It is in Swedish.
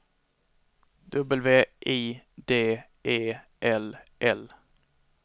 W I D E L L